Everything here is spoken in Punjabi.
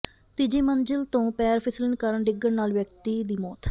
ਤੀਜੀ ਮੰਜ਼ਿਲ ਤੋਂ ਪੈਰ ਫਿਸਲਣ ਕਾਰਨ ਡਿੱਗਣ ਨਾਲ ਵਿਅਕਤੀ ਮੌਤ